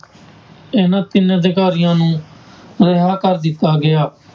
ਇਹਨਾਂ ਤਿੰਨ ਅਧਿਕਾਰੀਆਂ ਨੂੰ ਰਿਹਾ ਕਰ ਦਿੱਤਾ ਗਿਆ।